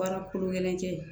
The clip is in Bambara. Baara kolo gɛlɛn kɛ